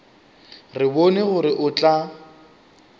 re bone gore o tla